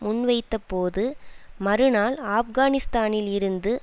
முன்வைத்தபோது மறுநாள் ஆப்கானிஸ்தானில் இருந்து